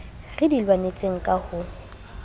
re di lwanetseng ka ho